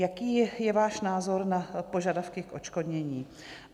Jaký je váš názor na požadavky k odškodnění?